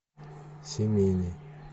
семейный